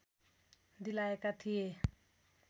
दिलाएका थिए